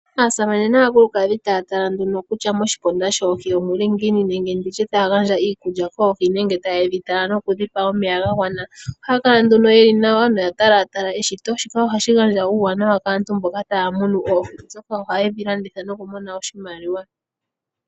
Konima aanafaalama yoohi gandja ehala koohi nayilwe, aha yeya konima yomasiku gontumba yatale ngele oohi oshili ngaa muundjowele nakene tadhi koko, iikulya mbiya pumbiwa, ohadhi pewa wo nomeya. Nokonima ngele yedhi tekula nawa konima yokudhi talatala, ohashi kala oshiwanawa molwaashoka ohadhi kayuulwamo etadhi falwa komahala gomangeshefelo, yo iiyemo oyeya nayo nokuli poshitaafula.